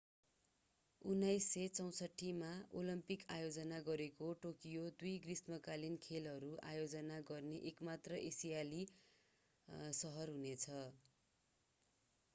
1964मा Olympic आयोजना गरेको Tokyo दुई ग्रीष्मकालीन खेलहरू आयोजना गर्ने एक मात्र एसियाली सहर हुनेछ